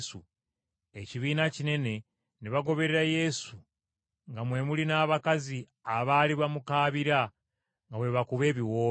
Ekibiina kinene ne bagoberera Yesu nga mwe muli n’abakazi abaali bamukaabira nga bwe bakuba ebiwoobe.